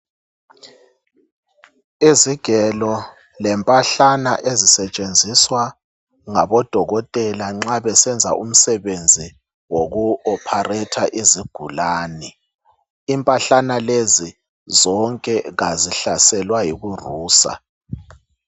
Izigelo lempahlana ezisetshenziswa ngabodokotela nxa besenza umsebenzi woku opharetha izigulane. Impahlana lezi zonke kazihlaselwa yikurusa.